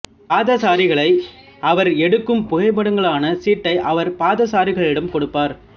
பாதசாரிகளை அவர் எடுக்கும் புகைப்படங்களுக்கான சீட்டை அவர் பாதசாரிகளிடம் கொடுப்பார்